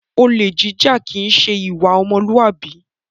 Olè jíjà kìí ṣe ìwà ọmọlúàbí